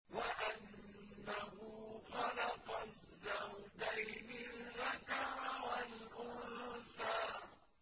وَأَنَّهُ خَلَقَ الزَّوْجَيْنِ الذَّكَرَ وَالْأُنثَىٰ